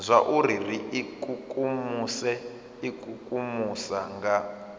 zwauri ri ikukumuse ikukumusa nga